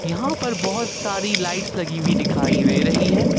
यहां पर बहुत सारी लाइट्स लगी हुई दिखाई दे रही है।